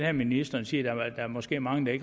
at ministeren siger at der måske er mange der